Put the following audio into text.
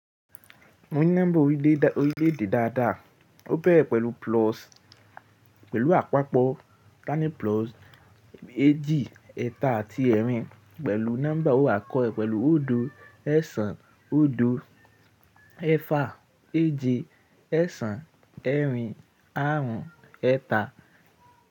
Mú nọ́mbà orílẹ̀-èdè dáadáa. Ó bẹ́re pẹ̀lú pelu apapo eeji, eta ati erin pẹ̀lú nọ́mbà ọ̀wọ̀ àkọ́kọ́ pẹ̀lú odo esan odo eeda eeje esan erin arun eta.